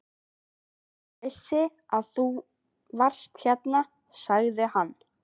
Ég vissi að þú varst hérna, segir hann.